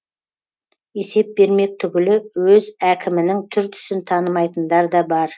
есеп бермек түгілі өз әкімінің түр түсін танымайтындар да бар